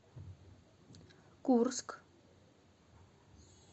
курск